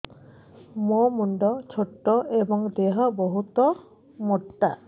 ମୋ ମୁଣ୍ଡ ଛୋଟ ଏଵଂ ଦେହ ବହୁତ ମୋଟା